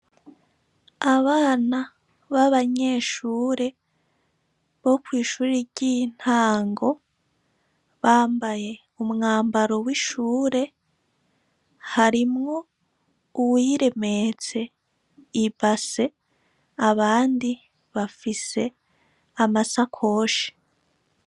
Abana b'abanyeshure bo kw'ishuri ry'intango bambaye umwambaro w'ishure harimwo uwiremetse ibase abandi bafise amasakoshe.